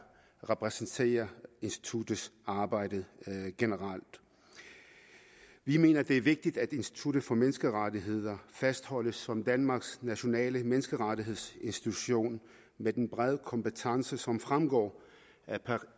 repræsenterer instituttets arbejde generelt vi mener det er vigtigt at institut for menneskerettigheder fastholdes som danmarks nationale menneskerettighedsinstitution med den brede kompetence som fremgår